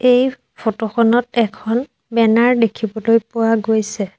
এই ফটো খনত এখন বেনাৰ দেখিবলৈ পোৱা গৈছে।